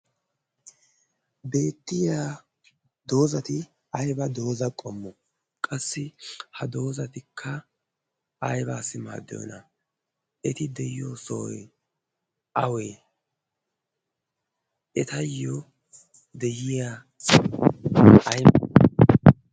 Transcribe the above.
Ha beettiya doozati ayba dooza qommo? Qassi ha doozatikka aybaassi maaddiyona? Eti de'iyo sohoy awee? Etayyo de'iya ayfe aybe?